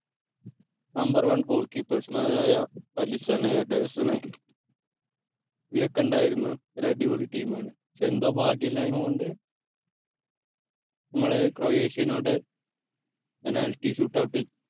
number one goal keepers മാരായ Alisson Ederson ഇവരൊക്കെ ഇണ്ടായിർന്ന ഒരു അടിപൊളി team ആണ് പക്ഷെ എന്തോ ഭാഗ്യമില്ലായ്മ കൊണ്ട് നമ്മൾ ക്രോഏശ്യനോട് penalty shoot out ൽ